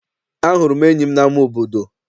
Ahụrụ m enyi m n'ama obodo.